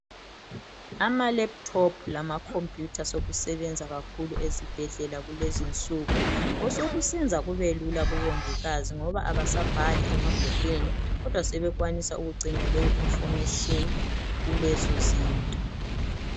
Ama laptop lama computer sokusebenza kakhulu ezibhedlela kulezinsuku, osokusenza kubelula kubongikazi ngoba abasabhali emabhukwini kodwa sebekwanisa ukugcina leyo information kulezozinto